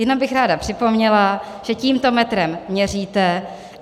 Jenom bych ráda připomněla, že tímto metrem měříte.